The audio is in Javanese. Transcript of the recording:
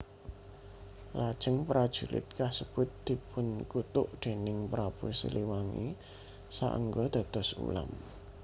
Lajeng prajurit kasebut dipunkutuk déning Prabu Siliwangi saéngga dados ulam